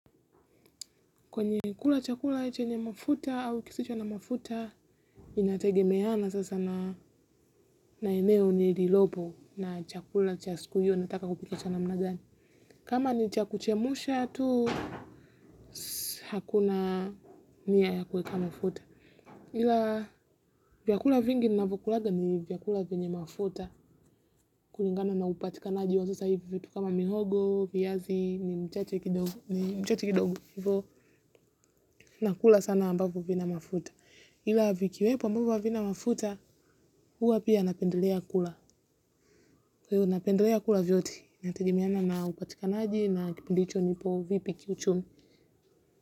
Kwenye kula chakula cheche nye mafuta au kisicho na mafuta. Inategemeana sasa na. Na eneo nililopo na chakula chakula cha siku hiyo nataka kupika cha namna gani. Kama ni cha kuchemusha tu. Hakuna, nia ya kueka mafuta. Ila, vyakula vingi na vyokulaga ni vyakula venye mafuta. Kuningana na upatikanaji wa sasa hivyo vitu kama mihogo, viazi, ni mchache kidogo, ni mchache kidogo. Hivo nakula sana ambavyo vina mafuta. Ila vikiwepo ambavyo havina mafuta. Huwa pia napendelea kula. Hivyo napendelea kula vyote, inategemeana na upatikanaji na kipindi hicho nipo vipi kiuchumi.